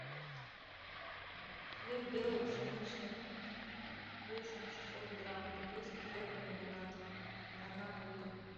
хлеб белый пшеничный весом шестьсот грамм копейский хлебокомбинат одна булка